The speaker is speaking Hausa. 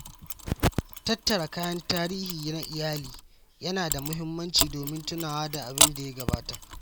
Tattara kayan tarihi na iyali yana da muhimmanci domin tunawa da abin da ya gabata.